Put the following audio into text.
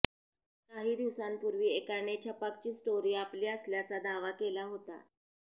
काही दिवसांपूर्वी एकाने छपाकची स्टोरी आपली असल्याचा दावा केला होता